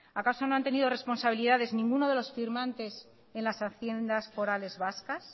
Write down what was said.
acaso no han tenido responsabilidades ninguno de los firmantes en las haciendas forales vascas